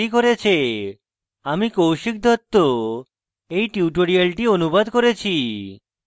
আমি কৌশিক দত্ত এই টিউটোরিয়ালটি অনুবাদ করেছি